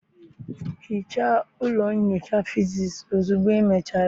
hichaa ụlọ nyocha physics ozugbo ịmechara!